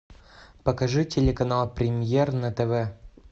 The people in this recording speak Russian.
покажи телеканал премьер на тв